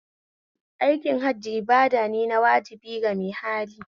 Aikin Hajji ibadane na wajibi ga mai hali